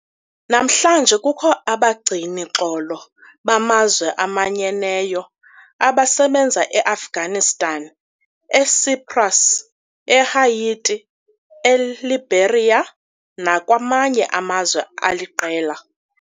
Namhlanje kukho abagcini-xolo bamazwe amanyeneyo abasebenza eAfghanistan, eCyprus, eHaiti, ei-Liberia nakwamanye amazwe aliqela.